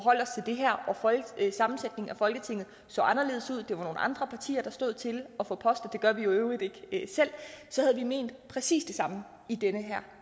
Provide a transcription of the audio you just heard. sammensætningen af folketinget så anderledes ud det var nogle andre partier der stod til at få poster og det gør vi i øvrigt ikke selv så havde vi ment præcis det samme i den her